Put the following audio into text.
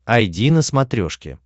айди на смотрешке